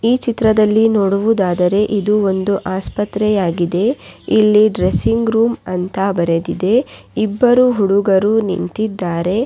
ಈ ಚಿತ್ರದಲ್ಲಿ ನೋಡುವುದಾದರೆ ಇದು ಒಂದು ಆಸ್ಪತ್ರೆ ಆಗಿದೆ ಇಲ್ಲಿ ಡ್ರೆಸ್ಸಿಂಗ್ ರೂಮ್ ( ಅಂತ ಬರೆದಿದೆ ಇಬ್ಬರು ಹುಡುಗರು ನಿಂತಿದ್ದಾರೆ.